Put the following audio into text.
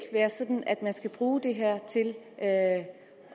være sådan at man skal bruge det her til at